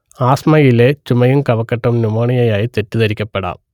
ആസ്മയിലെ ചുമയും കഫക്കെട്ടും ന്യുമോണിയയായി തെറ്റിദ്ധരിക്കപ്പെടാം